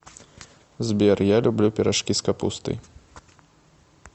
сбер я люблю пирожки с капустой